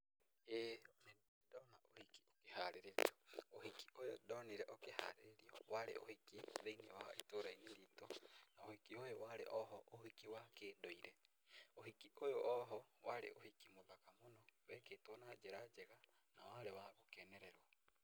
ĩĩ nĩ ndĩ ndona ũhiki ũkĩharĩrĩrio, ũhiki ũyũ ndonire ũkĩharĩrĩrio warĩ ũhiki thĩ-inĩ wa itũra-inĩ ritũ, na ũhiki ũyũ warĩ o ho ũhiki wa kĩndũire, ũhiki ũyũ o ho warĩ ũhiki mũthaka mũno wekĩtwo na njĩra njega na warĩ wa gũkenererwo.